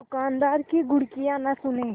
दुकानदार की घुड़कियाँ न सुने